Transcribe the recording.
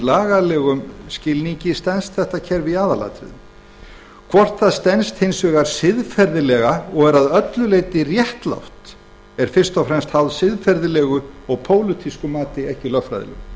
lagalegum skilningi stenst þetta kerfi í aðalatriðum hvort það hins vegar stenst siðferðilega og er að öllu leyti réttlátt er fyrst og fremst háð siðferðilegu og pólitísku mati ekki lögfræðilegu